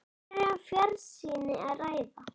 Hér er um fjarsýni að ræða.